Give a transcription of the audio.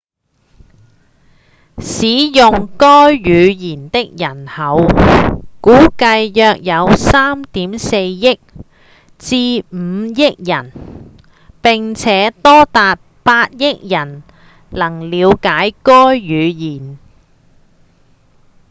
使用該語言的人口估計約有 3.4 億至5億人並且多達8億人能了解該語言